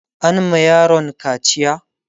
an ma yaron kaciya?